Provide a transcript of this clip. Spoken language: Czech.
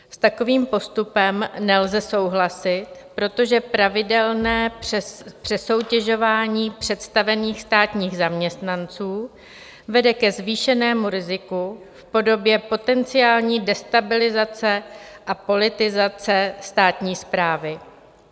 S takovým postupem nelze souhlasit, protože pravidelné přesoutěžování představených státních zaměstnanců vede ke zvýšenému riziku v podobě potenciální destabilizace a politizace státní správy.